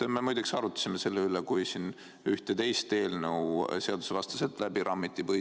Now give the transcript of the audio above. Me muide arutasime selle üle, kui siin ühte teist eelnõu põhiseaduskomisjonist seadusevastaselt läbi rammiti.